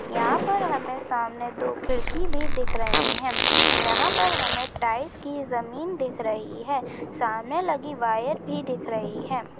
यहाँ पर हमे सामने दो खिड़की भी दिख रही है यहाँ पर हमे टाइल्स कि जमीन दिख रही है सामने लगी वायर भी दिख रही है।